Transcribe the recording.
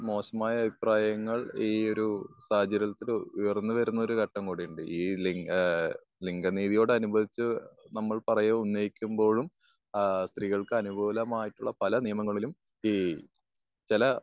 മോശമായ അഭിപ്രായങ്ങൾ ഈ ഒരു സാഹചര്യത്തിൽ ഉയർന്നു വരുന്ന ഒരു ഘട്ടം കൂടിയുണ്ട്. ഈ ലിംഗ ഏഹ് ലിംഗ നീതിയോട് അനുബന്ധിച്ച് നമ്മൾ പറയൂമ് ഉന്നയിക്കുമ്പോഴും ഏഹ് സ്ത്രീകൾക്ക് അനുകൂലമായിട്ടുള്ള പല നിയമങ്ങളിലും ഈ ചില